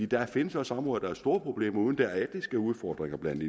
der findes også områder hvor der er store problemer uden at der er etniske udfordringer blandet